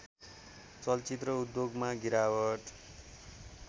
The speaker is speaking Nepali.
चलचित्र उद्योगमा गिरावट